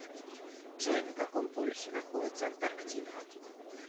джой на каком полюсе находится антарктида